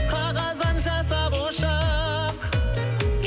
қағаздан жасап ұшақ